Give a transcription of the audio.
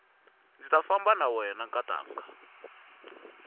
ndzi ta famba na wena nkatanga